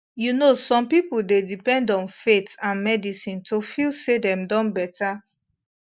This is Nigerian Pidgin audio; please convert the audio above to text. you know say some people dey depend on faith and medicine to feel say dem don better